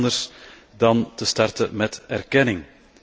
Dat kan niet anders dan door te starten met erkenning.